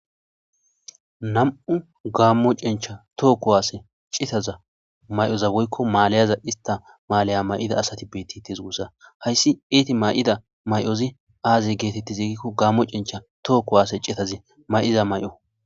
Nam'u gammo cencha tookko waase citaza may'oza woykko maalayaza ista maalaya may'ida asati beetti tes gussa hayssi eeti may'ida may'ozi aaze geetetti ziigikko gaammo cencha tookko waase cetazi may'iza may'o.